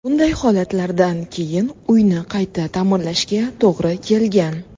Bunday holatlardan keyin uyni qayta ta’mirlashga to‘g‘ri kelgan.